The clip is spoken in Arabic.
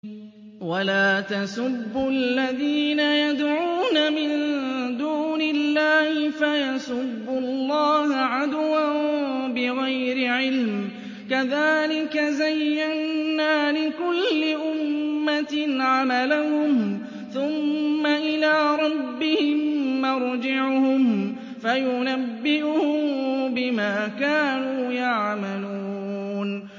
وَلَا تَسُبُّوا الَّذِينَ يَدْعُونَ مِن دُونِ اللَّهِ فَيَسُبُّوا اللَّهَ عَدْوًا بِغَيْرِ عِلْمٍ ۗ كَذَٰلِكَ زَيَّنَّا لِكُلِّ أُمَّةٍ عَمَلَهُمْ ثُمَّ إِلَىٰ رَبِّهِم مَّرْجِعُهُمْ فَيُنَبِّئُهُم بِمَا كَانُوا يَعْمَلُونَ